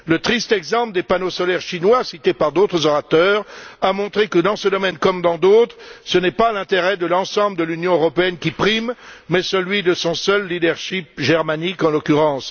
Le triste exemple des panneaux solaires chinois, cité par d'autres orateurs, a montré que, dans ce domaine comme dans d'autres, ce n'est pas l'intérêt de l'ensemble de l'Union européenne qui prime mais celui de son seul leadership germanique, en l'occurrence.